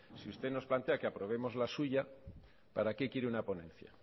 si usted nos plantea que aprobemos la suya para qué quiere una ponencia